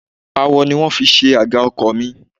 Awọ ni wón fi ṣe àga ọkọ̀ mi.